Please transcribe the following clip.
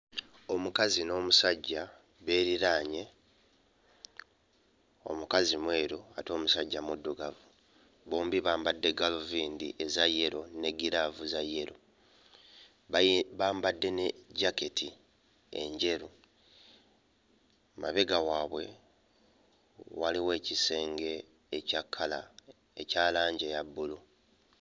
Omukazi n'omusajja beeriraanye, omukazi mweru ate omusajja muddugavu. Bombi bambadde gaaluvindi eza yero ne giraavu za yero, bayi... bambadde ne jaketi enjeru. Emabega waabwe waliwo ekisenge ekya kkala ekya langi eya bbulu.